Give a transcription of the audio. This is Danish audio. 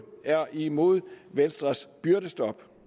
er imod venstres byrdestop